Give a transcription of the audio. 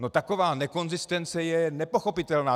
No taková nekonzistence je nepochopitelná.